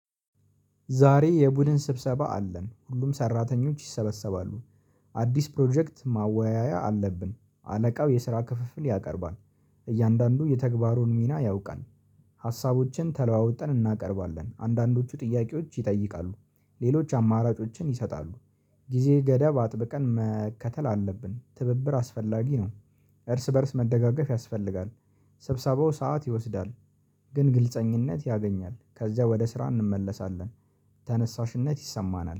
ዛሬ የቡድን ስብሰባ አለን ሁሉም ሰራተኞች ይሰበሰባሉ። አዲስ ፕሮጀክት ማወያያ አለብን አለቃው የስራ ክፍፍል ያቀርባል። እያንዳንዱ የተግባሩን ሚና ያውቃል። ሀሳቦችን ተለዋወጠን እናቀርባለን አንዳንዶቹ ጥያቄዎች ይጠይቃሉ። ሌሎች አማራጮችን ይሰጣሉ። ጊዜገደብ አጥብቀን መከተል አለብን ትብብር አስፈላጊ ነው። እርስ በእርስ መደጋገፍ ያስፈልጋል። ስብሰባው ሰዓት ይወስዳል። ግን ግልፀኝነት ያገኛል ከዚያ ወደ ስራ እንመለሳለን። ተነሳሽነት ይሰማናል